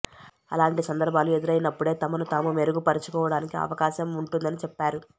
అలాంటి సందర్భాలు ఎదురైనప్పుడే తమను తాము మెరుగు పరచుకోవడానికి అవకాశం ఉంటుందని చెప్పారు